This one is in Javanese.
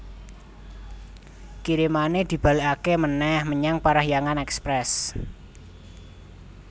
Kirimane dibalekake meneh menyang Parahyangan Express